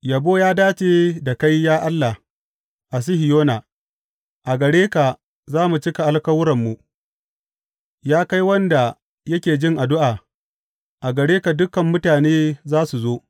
Yabo ya dace da kai, ya Allah, a Sihiyona; a gare ka za mu cika alkawuranmu Ya kai wanda yake jin addu’a a gare ka dukan mutane za su zo.